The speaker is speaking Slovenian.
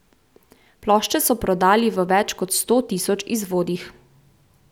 Plošče so prodali v več kot sto tisoč izvodih.